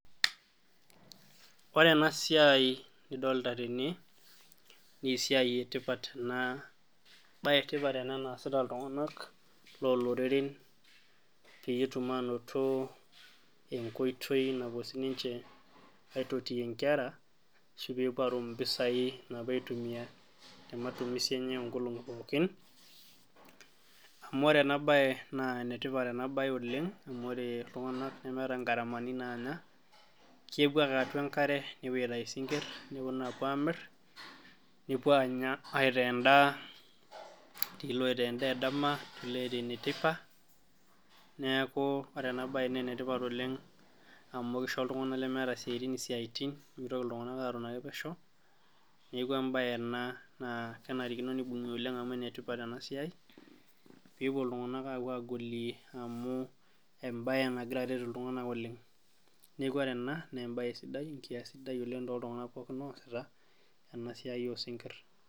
Wore ena siai nidolta tene, naa esiai etipat ena, embae etipat ena naasita iltunganak looloreren pee etum ainoto enkoitoi napuo sininche aitotiyie inkera ashu pee epuo aatum impisai naapuo aitumia te matumisi enye oonkolongi pookin. Amu wore ena baye naa enetipat ena baye oleng' amu wore iltunganak nemeeta ingharamani naanya. Kepuo ake atua enkare, nepuo aitayu isinkir, neponu aapuo aamirr, nepuo aanya aitaa endaa, etii iloitaa endaa edama etii iloitaa eneteipa, neeku wore ena baye naa enetipat oleng' amu kisho iltunganak lemeeta isiatin isiatin, pee mitoki iltunganak atoni ake pesho. Neeku embaye ena naa kenarikino nibungi oleng' amu enetipat ena siai, pee epuo iltunganak aapuo aagolie amu embaye nakira aret iltunganak oleng'. Neeku wore ena naa embaye sidai oleng' tooltunganak pookin ooasita, ena siai oosinkir.